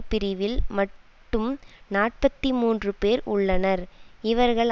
பிரிவில் மட்டும் நாற்பத்தி மூன்று பேர் உள்ளனர் இவர்கள்